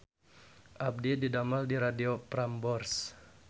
Abdi didamel di Radio Prambors